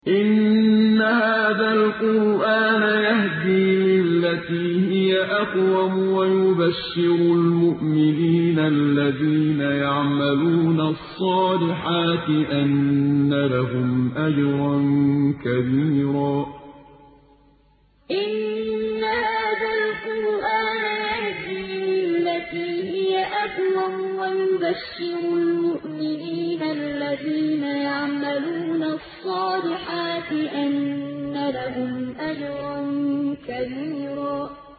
إِنَّ هَٰذَا الْقُرْآنَ يَهْدِي لِلَّتِي هِيَ أَقْوَمُ وَيُبَشِّرُ الْمُؤْمِنِينَ الَّذِينَ يَعْمَلُونَ الصَّالِحَاتِ أَنَّ لَهُمْ أَجْرًا كَبِيرًا إِنَّ هَٰذَا الْقُرْآنَ يَهْدِي لِلَّتِي هِيَ أَقْوَمُ وَيُبَشِّرُ الْمُؤْمِنِينَ الَّذِينَ يَعْمَلُونَ الصَّالِحَاتِ أَنَّ لَهُمْ أَجْرًا كَبِيرًا